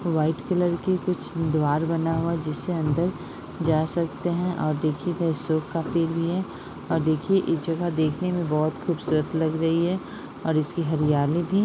white colour की कुछ द्वार बना हुआ है जिससे अंदर जा सकते हैं और देखिये अशोक का पेड़ भी है और देखिये ये जगह देखने में बोहोत खुबसूरत लग रही है और इसकी हरियाली भी --